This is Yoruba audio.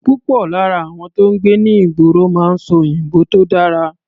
Púpọ̀ lára àwọn tó ń gbé ní ìgboro máa ń sọ òyìnbó tó dára.